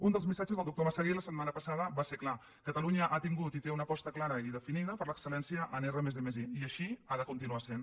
un dels missatges del doctor massagué la setmana passada va ser clar catalunya ha tingut i té una aposta clara i definida per l’excel·lència en r+d+i i així ha de continuar sent